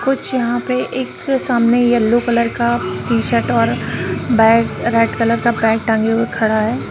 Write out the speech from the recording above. कुछ यहां पे एक सामने येलो कलर का टी-शर्ट और बैग रेड कलर का बैग टांगे हुए खड़ा है।